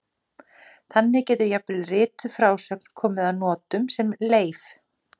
Þannig getur jafnvel rituð frásögn komið að notum sem leif.